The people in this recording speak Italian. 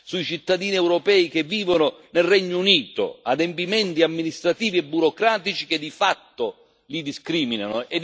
sui cittadini europei che vivono nel Regno Unito adempimenti amministrativi e burocratici che di fatto li discriminano.